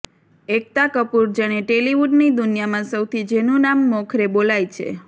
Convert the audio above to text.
એકતા કપૂર જેણે ટેલિવૂડની દુનિયામાં સૌથી જેનું નામ મોખરે બોલાઈ છે